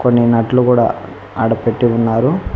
కొన్ని నట్లు కూడా ఆడ పెట్టి ఉన్నారు.